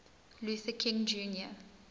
luther king jr